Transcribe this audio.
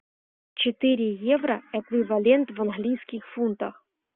четыре евро эквивалент в английских фунтах